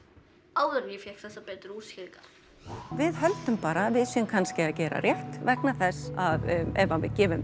áður en ég fékk þessar betri útskýringar við höldum bara að við séum kannski að gera rétt vegna þess að ef við gefum